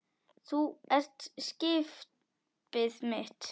Þú ert skipið mitt.